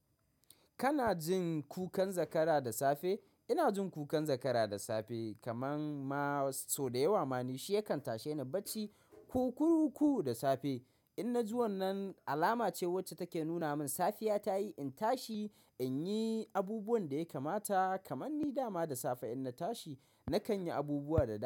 Kana jin kukan zakara da safe? Ina jin kukan zakara da safe kamar ma sau dayawa mani shi yakan tasheni bacci. Kukuruku da safe inna ji wannan alama ce wacce take nuna min safiya tayi in tashi inyi abubuwan da ya kamata. Kamanni dama da safe inna tashi, nakanyi abubuwa da dama.